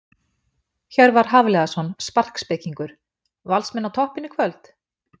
Hjörvar Hafliðason sparkspekingur: Valsmenn á toppinn í kvöld?